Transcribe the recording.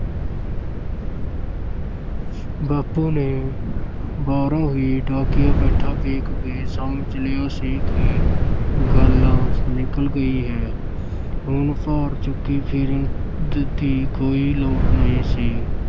ਬਾਪੂ ਨੇ ਬਾਹਰੋਂ ਹੀ ਡਾਕੀਆ ਬੈਠਾ ਵੇਖ ਕੇ ਸਮਝ ਲਿਆ ਸੀ ਕਿ ਗੱਲ ਨਿਕਲ ਗਈ ਹੈ ਹੁਣ ਭਾਰ ਚੁੱਕੀ ਫਿਰਨ ਦ~ ਦੀ ਕੋਈ ਲੋੜ ਨਹੀਂ ਸੀ।